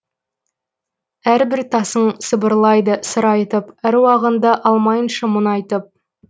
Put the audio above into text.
әрбір тасың сыбырлайды сыр айтып әруағыңды алмайыншы мұңайтып